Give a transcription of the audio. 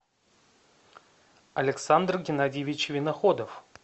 александр геннадьевич виноходов